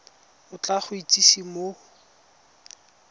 o tla go itsise mo